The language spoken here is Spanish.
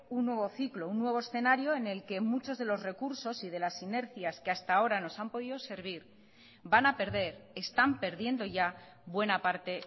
un nuevo ciclo un nuevo escenario en el que muchos de los recursos y de las sinergias que hasta ahora nos han podido servir van a perder están perdiendo ya buena parte